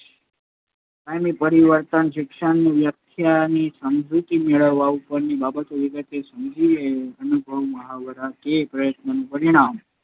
કાયમી પરિવર્તન શિક્ષણની વ્યાખ્યાની સમજૂતી મેળવવા ઉપરની બાબતો વિગતે સમજીએ. અનુભવ, મહાવરા કે પ્રયત્નનું પરિણામ